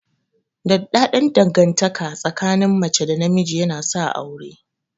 Daɗaɗɗan dangantaka tsakin mace da namiji yana sa aure.